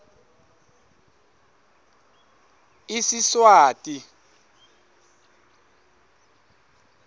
isiswati